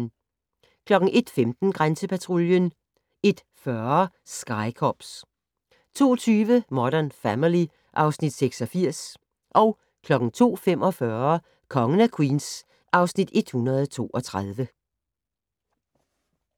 01:15: Grænsepatruljen 01:40: Sky Cops 02:20: Modern Family (Afs. 86) 02:45: Kongen af Queens (Afs. 132)